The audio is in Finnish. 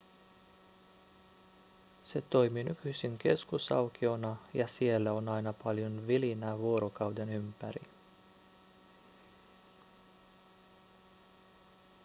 se toimii nykyisin keskusaukiona ja siellä on aina paljon vilinää vuorokauden ympäri